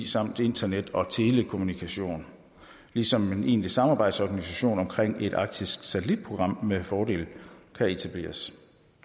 samt internet og telekommunikation ligesom en egentlig samarbejdsorganisation omkring et arktisk satellitprogram med fordel kan etableres